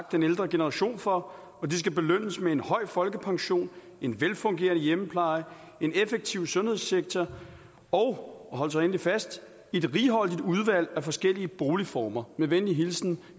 den ældre generation for og de skal belønnes med en høj folkepension en velfungerende hjemmepleje en effektiv sundhedssektor og og hold så endelig fast et righoldigt udvalg af forskellige boligformer med venlig hilsen